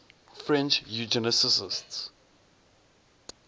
french eugenicists